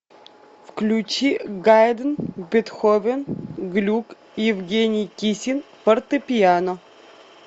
включи гайдн бетховен глюк евгений кисин фортепиано